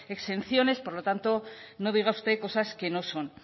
exenciones por lo tanto no diga usted cosas que no son